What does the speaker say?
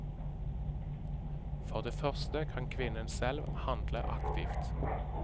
For det første kan kvinnen selv handle aktivt.